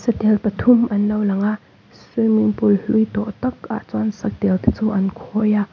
satel pa thum an lo langa swimming pool hlui tawh takah chuan satel te chu an khawi a.